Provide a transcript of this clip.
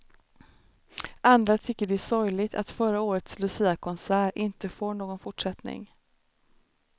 Andra tycker det är sorgligt att förra årets luciakonsert inte får någon fortsättning.